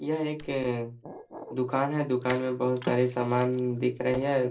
ये एक दुकान है। दुकान में बोहोत सारे समान दिख रहे हैं।